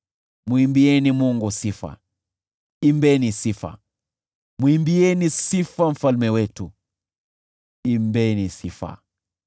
Mwimbieni Mungu sifa, imbeni sifa, mwimbieni sifa Mfalme wetu, imbeni sifa.